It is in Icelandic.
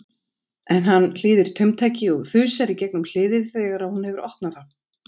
En hann hlýðir taumtaki og þusar í gegnum hliðið þegar hún hefur opnað það.